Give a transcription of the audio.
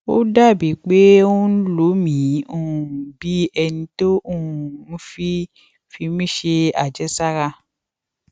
ó dà bíi pé ó ń lo mi um bí ẹni tó um ń fi fi mí ṣe àjẹsára